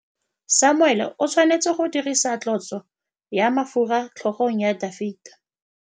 Samuele o tshwanetse go dirisa tlotsô ya mafura motlhôgong ya Dafita.